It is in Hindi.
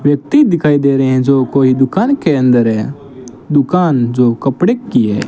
व्यक्ति दिखाई दे रहे हैं जो कोई दुकान के अंदर है दुकान जो कपड़े की है।